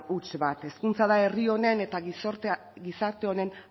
huts bat hezkuntza da herri honen eta gizarte honen